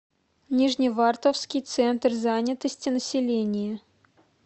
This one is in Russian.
нижневартовский центр занятости населения